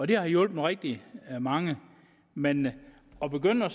det har hjulpet rigtig mange men at begynde at